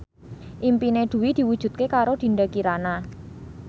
impine Dwi diwujudke karo Dinda Kirana